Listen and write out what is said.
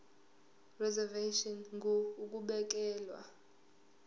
reservation ngur ukubekelwa